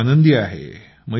मी खूप आनंदी आहे